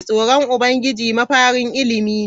Tsoron Ubangiji mafarin ilimi ne.